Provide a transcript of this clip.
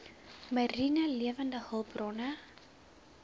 mariene lewende hulpbronne